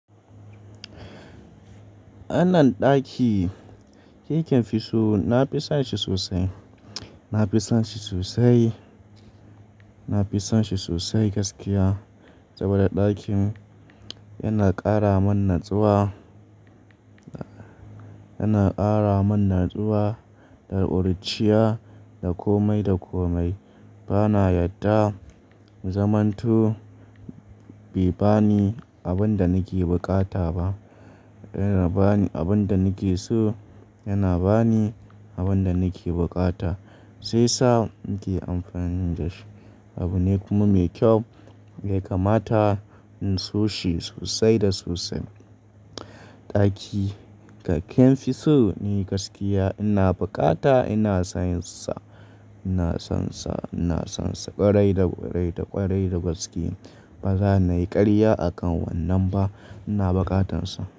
Anan ɗaki, kikefi so nafi sonshi sosai, nafison shi sosai, nafison shi sosai gaskiya. Saboda ɗakin yana ƙaramin natsuwa, yana ƙaramin natsuwa da ƙuruciya, da komai, da komai. Bana yadda in zamanto bai bani abinda nake buƙata ba. Yana bani abinda nakeso, yana bani abinda nake buƙata, shiyasa nake amfani dashi. Abu ne kuma mai ƙyau da yakamata in soshi sosai da sosai. Ɗaki ka kinfi so ni gaskiya ina bukata ina sonsa, ina sonsa, ina sonsa ƙwarai da ƙwarai da ƙwarai da gaske. Baza nayi ƙarya akan wannan ba ina bukatansa.